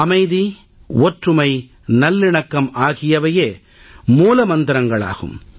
அமைதி ஒற்றுமை நல்லிணக்கம் ஆகியவையே மூல மந்திரங்களாகும்